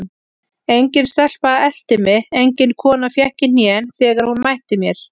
Engin stelpa elti mig, engin kona fékk í hnén þegar hún mætti mér.